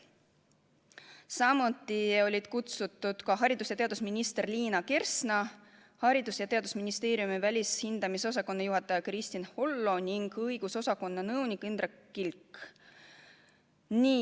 Samuti olid kutsutud haridus- ja teadusminister Liina Kersna, Haridus- ja Teadusministeeriumi välishindamisosakonna juhataja Kristin Hollo ning õigusosakonna nõunik Indrek Kilk.